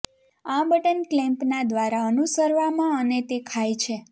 આ બટન ક્લેમ્પના દ્વારા અનુસરવામાં અને તે ખાય છે